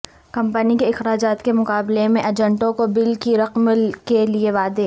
company کے اخراجات کے مقابلے میں ایجنٹوں کو بل کی رقم کے لئے وعدے